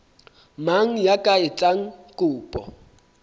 mang ya ka etsang kopo